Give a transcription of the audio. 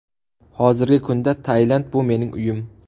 Hozirgi kunda Tailand bu mening uyim.